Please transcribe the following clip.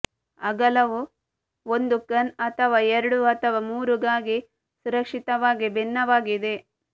ಅಗಲವು ಒಂದು ಗನ್ ಅಥವಾ ಎರಡು ಅಥವಾ ಮೂರು ಗಾಗಿ ಸುರಕ್ಷಿತವಾಗಿ ಭಿನ್ನವಾಗಿದೆ